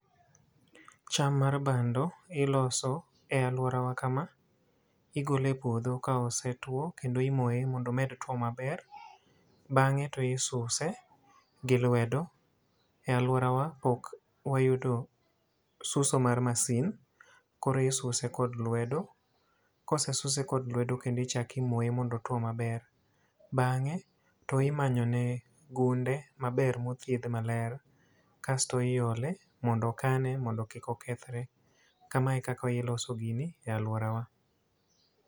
Cham mar bando iloso e alworawa kama. Igole e puodho ka osetwo, kendo imoye mondo omed two maber. Bangé to isuse gi lwedo e alworawa pok wayudo suso mar masin, koro isuse kod lwedo. Kosesuse kod lwedo kendo ichak imoye mondo otwo maber. Bangé to imanyone gunde maber mothiedh maler, kasto iole mondo okane mondo kik okethre, Kamae e kaka iloso gini e alworawa.